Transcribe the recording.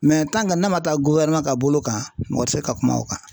n'a ma taa ka bolo kan mɔgɔ ti se ka kuma o kan.